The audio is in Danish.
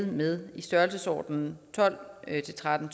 med i størrelsesordenen tolv til tretten